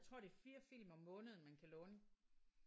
Jeg tror det er 4 film om måneden man kan låne